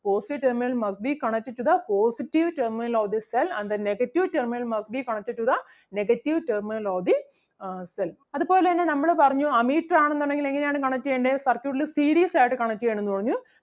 positive terminal must be connected to the positive terminal of the cell and the negative terminal must be connected to the negative terminal of the uh cell. അതുപോലെ തന്നെ നമ്മള് പറഞ്ഞു ammeter ആണെന്നുണ്ടെങ്കിൽ എങ്ങനെ ആണ് connect ചെയ്യണ്ടേ circuit ല് series ആയിട്ട് connect ചെയ്യണം എന്ന് പറഞ്ഞു.